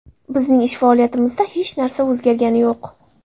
Biznish ish faoliyatimizda hech narsa o‘zgargani yo‘q.